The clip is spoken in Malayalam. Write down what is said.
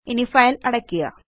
ഇനി ഫൈൽ അടയ്ക്കുക